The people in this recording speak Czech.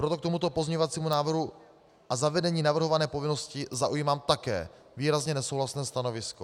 Proto k tomuto pozměňovacímu návrhu a zavedení navrhované povinnosti zaujímám také výrazně nesouhlasné stanovisko.